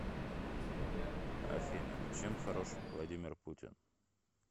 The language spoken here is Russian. афина чем хорош владимир путин